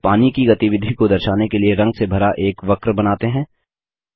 अब पानी की गतिविधि को दर्शाने के लिए रंग से भरा एक वक्र बनाते हैं